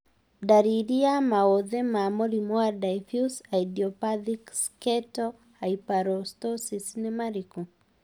Ndariri na maũthĩ ma mũrimũ wa Diffuse idiopathic sketal hyperostosis nĩ marĩkũ?